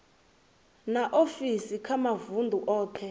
na ofisi kha mavundu othe